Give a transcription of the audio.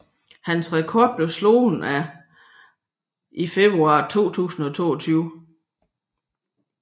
Hans rekord blev slået af Abhimanyu Mishra i februar 2022